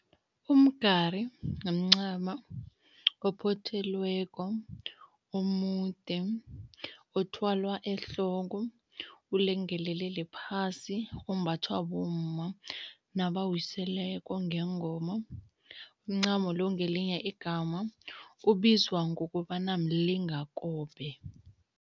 Umgari mncamo ophothelweko, omude, othwalwa ehloko ulengelelele phasi, ombathwa bomma nabawiseleko ngengoma. Umncamo lo ngelinye igama ubizwa ngokobana mlingakobe.